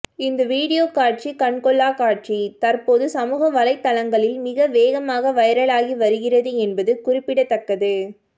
இந்த வீடியோ காட்சி கண்கொள்ளா காட்சி தற்போது சமூக வலைத்தளங்களில் மிக வேகமாக வைரலாகி வருகிறது என்பது குறிப்பிடத்தக்கது